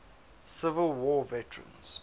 civil war veterans